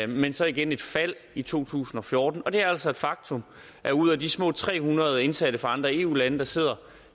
men så igen et fald i to tusind og fjorten og det er altså et faktum at ud af de små tre hundrede indsatte fra andre eu lande der sidder